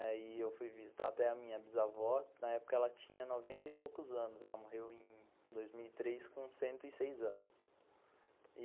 E eu fui visitar até a minha bisavó, na época ela tinha noventa e poucos anos, ela morreu em dois mil e três com cento e seis anos e